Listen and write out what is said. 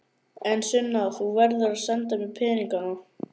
En Sunna, þú verður að senda mér peninga.